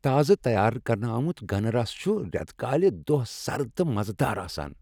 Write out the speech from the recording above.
تازٕ تیار کرنہٕ آمُت گنہٕ رس چُھ ریتہٕ کالہِ دۄہ سرد تہٕ مزٕ دار آسان۔